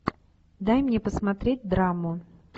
дай мне посмотреть драму